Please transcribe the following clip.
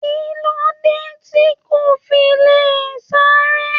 Kilode ti ko fi le sáré?